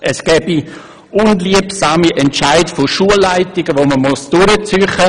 Es gebe unliebsame Entscheide von Schulleitungen, die man durchziehen müsse.